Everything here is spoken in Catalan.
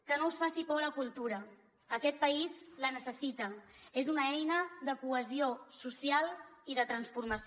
que no us faci por la cultura aquest país la necessita és una eina de cohesió social i de transformació